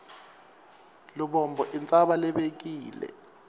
lubombo intsaba lebekile